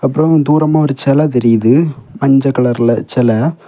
அப்றொ தூரமா ஒரு செல தெரியுது மஞ்செ கலர்ல செல.